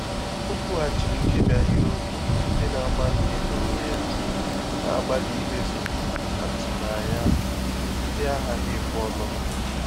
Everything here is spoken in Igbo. Ọ́ kwùghàchìrì nkèbí áhị́rị́okwụ́ ndị́ nà-àgbá míé n’ónwé yá, nà-àgbàlí ímézù àtụ́mànyà nà-ághàghị́ ékwé ọmụma.